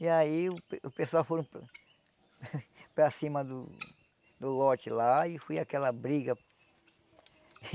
E aí o pe o pessoal foram para para cima do do lote lá e foi aquela briga.